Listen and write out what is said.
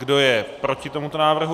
Kdo je proti tomuto návrhu?